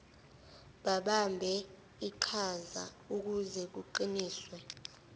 babambe iqhazaukuze kuqiniswe